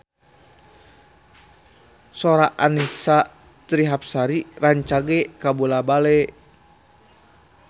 Sora Annisa Trihapsari rancage kabula-bale